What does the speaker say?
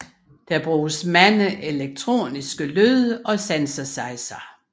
Det bruges mange elektroniske lyde og synthesizere